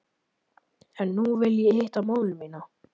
En nú vil ég hitta móður mína.